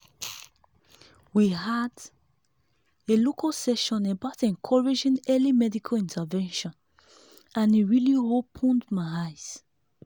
we had a local session about encouraging early medical intervention and e really opened my eyes.